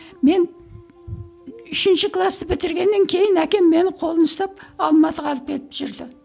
мен үшінші класты бітіргеннен кейін әкем мені қолына ұстап алматыға алып кетіп жүрді